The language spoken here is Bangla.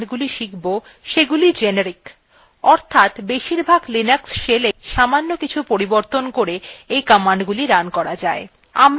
এই টিউটোরিয়ালটিতে আমরা the commandsগুলি শিখব সেগুলি generic অর্থাৎ বেশিরভাগ linux shellএই সামান্য কিছু পরিবর্তন করে এই commandsগুলি রান করা যায়